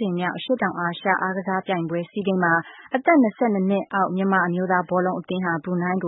ကြိမ်မြောက် အရှေ့တောင်အာရှအားကစားပြိုင်ပွဲ အမျိုးသားဘောလုံးပွဲမှာ မြန်မာ ယူ-၂၂ အသင်းဟာ အ